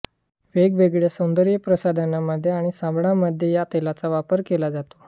वेगवेगळ्या सौंदर्यप्रसाधनांमध्ये आणि साबणामध्ये या तेलाचा वापर केला जातो